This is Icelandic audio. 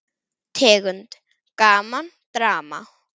Tegund: Gaman, Drama